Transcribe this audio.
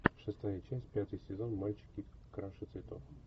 шестая часть пятый сезон мальчики краше цветов